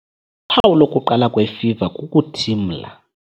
Uphawu lokuqala kwefiva kukuthimla.